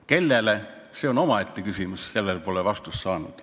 Kellele, see on omaette küsimus, sellele pole vastust saanud.